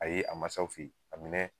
a ma s'aw fe yen a minɛ